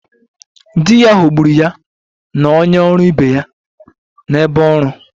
Di ya ghọgburu ya na onye ọrụ ibe ya n'ebe ọrụ